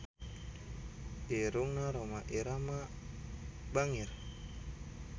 Irungna Rhoma Irama bangir